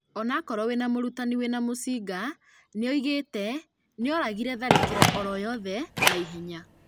Onakorwo wĩna mũrutani wĩna mucinga, nĩoigĩte "noarigĩrĩrie tharĩkĩro oro yothe na ihenya"